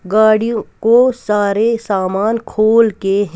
गाड़ियों को सारे सामान खोल के हे--